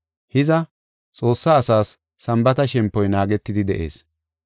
Hiza, Xoossaa asaas Sambaata shempoy naagetidi de7ees.